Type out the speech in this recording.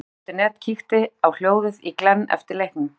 Fótbolti.net kíkti á hljóðið í Glenn eftir leikinn.